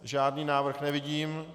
Žádný návrh nevidím.